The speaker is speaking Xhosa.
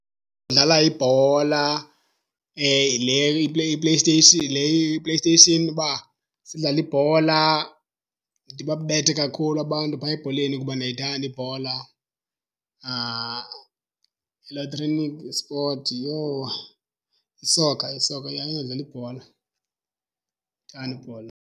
Udlala ibhola le iPlayStation, le iPlayStation uba sidlale ibhola. Ndibabethe kakhulu abantu phaya ebholeni kuba ndiyayithanda ibhola. Elektronic esport, yho! Yisoka, isoka, yha, eyodlala ibhola. Ndiyayithanda ibhola.